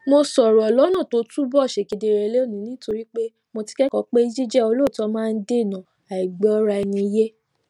mo sòrò lónà tó túbò ṣe kedere lónìí nítorí mo ti kékòó pé jíjé olóòótó máa ń dènà àìgbóraẹniyé